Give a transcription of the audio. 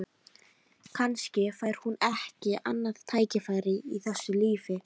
Kannski fær hún ekki annað tækifæri í þessu lífi.